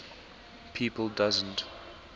people doesn t